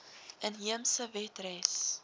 inheemse wet res